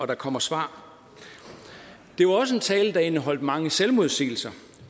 der kommer svar det var også en tale der indeholdt mange selvmodsigelser